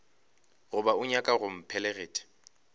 goba o nyaka go mpheleletša